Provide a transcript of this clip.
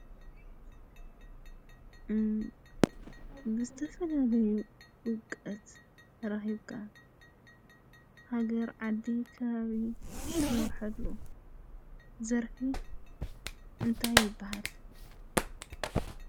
ግሥተፈ ናበዩ ወቀት ራኺብካ ሃገር ዓዲ ኻብ እትመርሐሉ ዘርፊ እንታይ ይበሃል